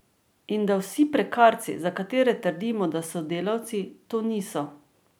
In da vsi prekarci, za katere trdimo, da so delavci, to niso.